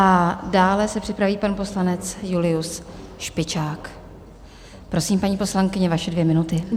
A dále se připraví pan poslanec Julius Špičák, prosím, paní poslankyně, vaše dvě minuty.